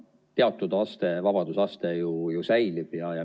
Teatud vabadusaste ju säilib.